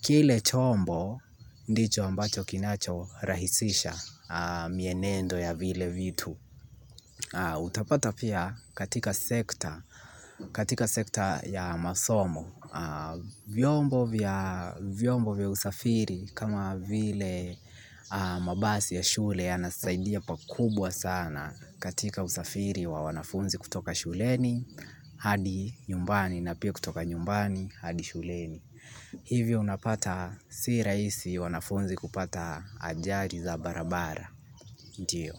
kile chombo ndicho ambacho kinacho rahisisha mienendo ya vile vitu. Utapata pia katika sekta ya masomo. Vyombo vya usafiri kama vile mabasi ya shule yanasaidia pakubwa sana katika usafiri wa wanafunzi kutoka shuleni. Hadi nyumbani na pia kutoka nyumbani hadi shuleni. Hivyo unapata si rahisi wanafunzi kupata ajali za barabara, ndio.